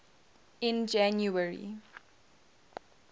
in january